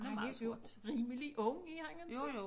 Og han er jo rimelig ung er han ikke